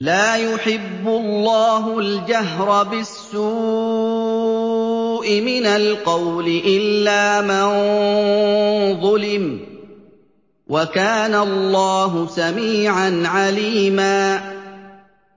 ۞ لَّا يُحِبُّ اللَّهُ الْجَهْرَ بِالسُّوءِ مِنَ الْقَوْلِ إِلَّا مَن ظُلِمَ ۚ وَكَانَ اللَّهُ سَمِيعًا عَلِيمًا